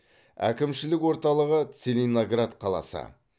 әкімшілік орталығы целиноград қаласы